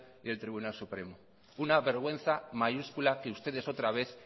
y el tribunal supremo una vergüenza mayúscula que ustedes otra vez